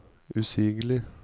usigelig